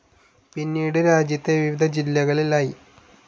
പിന്നീട് രാജ്യത്തെ വിവിധ ജില്ലകളിൽ ഐ.